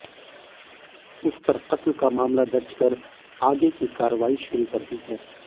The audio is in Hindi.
उस पर कत्ल का मामला दर्ज कर आगे की कार्रवाई शुरू कर दी है